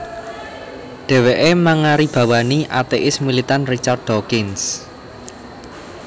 Dhèwèké mangaribawani atéis militan Richard Dawkins